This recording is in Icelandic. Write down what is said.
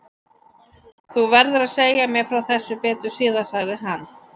Þú verður að segja mér frá þessu betur síðar sagði hann.